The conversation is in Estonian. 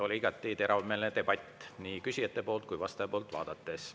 Oli igati teravmeelne debatt nii küsijate kui vastaja poolt vaadates.